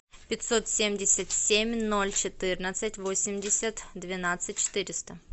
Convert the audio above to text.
пятьсот семьдесят семь ноль четырнадцать восемьдесят двенадцать четыреста